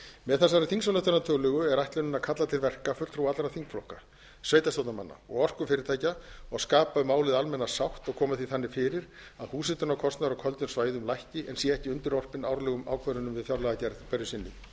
með þessari þingsályktunartillögu er ætlunin að kalla til verka fulltrúa allra þingflokka sveitarstjórnarmanna og orkufyrirtækja og skapa um málið almenna sátt og koma því þannig fyrir að húshitunarkostnaður á köldum svæðum lækki en sé ekki undirorpinn árlegum ákvörðunum við fjárlagagerð hverju sinni ég